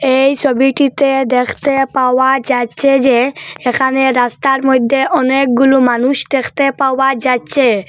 এই সোবিটিতে দ্যাখতে পাওয়া যাচচে যে এখানে রাস্তার মইদ্যে অনেকগুলো মানুষ দেখতে পাওয়া যাচচে।